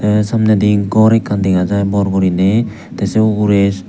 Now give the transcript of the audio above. tey samnedi gor ekkan dega jai bor guriney tey sei ugrey.